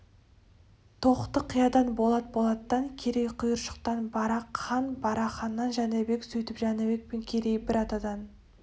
тоқты-қиядан болат болаттан керей құйыршықтан барақ хан барақ ханнан жәнібек сөйтіп жәнібек пен керей бір атадан